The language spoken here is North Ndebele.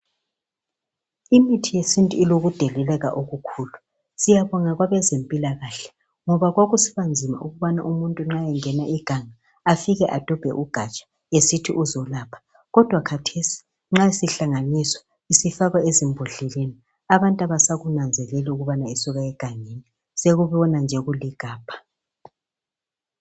Imithi yesintu ilokudeleleka okukhulu siyabonga kwabezempilakahle ngoba kwakusibanzima ukubana umuntu nxa engena iganga afike adobe ugatsha esithi uzolapha kodwa kathesi nxa sihlanganiswa sifakwa embodleleni abantu abasakunanzeleli ukubana isuka egangeni sekubona nje kuligabha.